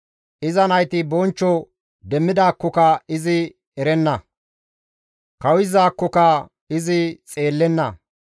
Iza nayti bonchcho demmidaakkoka izi erenna; kawuyizaakokka izi xeellenna.